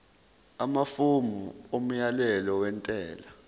amafomu omyalelo wentela